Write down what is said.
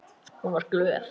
Hún var glöð.